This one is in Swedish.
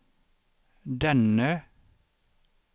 denne